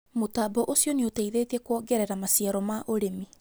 Mũtambo ũcio nĩũteithitie kũongerera maciaro ma ũrĩmi